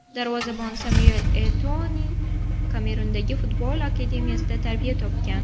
Darvozabon Samyuel Eto‘Oning Kamerundagi futbol akademiyasida tarbiya topgan.